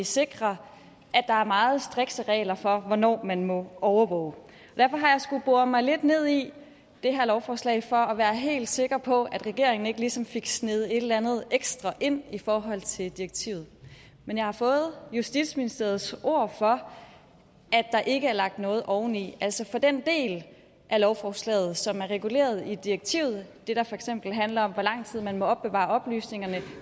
sikrer at der er meget strikse regler for hvornår man må overvåge derfor har jeg skullet bore mig lidt ned i det her lovforslag for at være helt sikker på at regeringen ikke ligesom fik sneget et eller andet ekstra ind i forhold til direktivet men jeg har fået justitsministeriets ord for at der ikke er lagt noget oveni altså for den del af lovforslaget som er reguleret i direktivet det der for eksempel handler om hvor lang tid man må opbevare oplysningerne